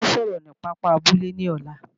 A ó sọ̀rọ̀ ni pápá abúlé ní ọ̀la